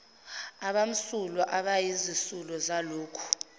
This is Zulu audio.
abamsulwa abayizisulu zalokhu